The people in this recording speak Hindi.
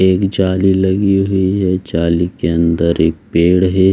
एक जाली लगी हुई है जाली के अंदर एक पेड़ है |